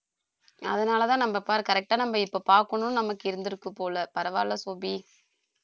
அதனால தான் நம்ம correct டா நம்ம இப்ப பார்க்கணும்னு நமக்கு இருந்திருக்கு போல பரவாயில்லை சோபி